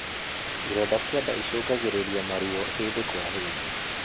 Ironda cia ndaa icungagirirĩa maruo hĩndĩ kwa hĩndĩ